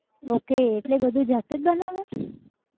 okay એટલે બધું જાતે જ બનાવે!